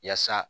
Yaasa